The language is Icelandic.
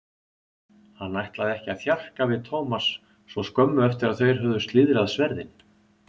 Hann ætlaði ekki að þjarka við Thomas svo skömmu eftir að þeir höfðu slíðrað sverðin.